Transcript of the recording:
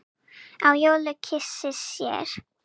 á jólum kysi sér.